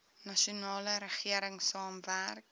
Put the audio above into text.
nasionale regering saamwerk